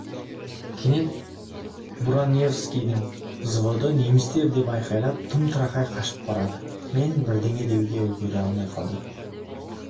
кенет буранаевскийдің взводы немістер деп айқайлап тым-тырақай қашып барады мен бірдеңе деуге үлгере алмай қалдым